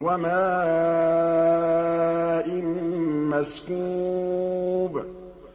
وَمَاءٍ مَّسْكُوبٍ